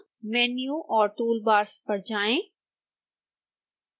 menu और toolbars पर जाएं